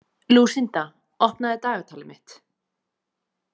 Lúsinda, opnaðu dagatalið mitt.